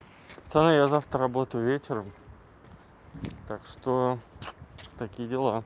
пацаны я завтра работаю вечером так что такие дела